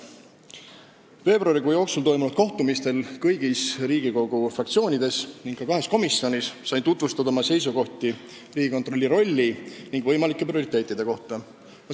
Veebruari jooksul toimunud kohtumistel kõigis Riigikogu fraktsioonides ning ka kahes komisjonis sain tutvustada oma seisukohti Riigikontrolli rolli ja võimalike prioriteetide kohta.